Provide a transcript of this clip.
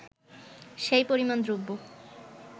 সেই পরিমাণ দ্রব্য